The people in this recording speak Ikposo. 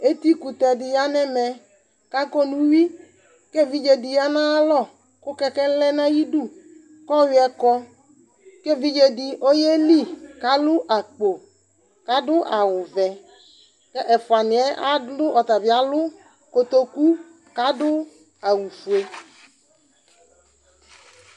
Etikʋtɛ dɩ ya nʋ ɛmɛ kʋ akɔ nʋ uyui kʋ evidze dɩ ya nʋ ayalɔ kʋ kɛkɛ lɛ nʋ ayidu kʋ ɔyʋɛ kɔ kʋ evidze dɩ ɔyeli kʋ alʋ akpo kʋ adʋ awʋvɛ kʋ ɛfʋanɩ yɛ adlʋ, ɔta bɩ alʋ kotoku kʋ adʋ awʋfue